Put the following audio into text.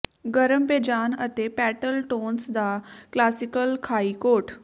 ਗਰਮ ਬੇਜਾਨ ਅਤੇ ਪੈਟਲ ਟੋਨਸ ਦਾ ਕਲਾਸਿਕ ਖਾਈ ਕੋਟ